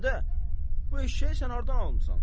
Ədə, bu eşşəyi sən hardan almısan?